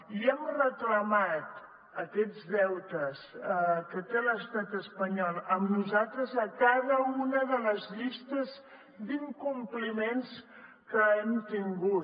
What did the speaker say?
i hem reclamat aquests deutes que té l’estat espanyol amb nosaltres a cada una de les llistes d’incompliments que hem tingut